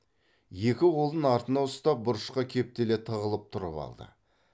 екі қолын артына ұстап бұрышқа кептеле тығылып тұрып алды